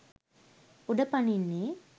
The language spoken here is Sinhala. උඩ පනින්නේ?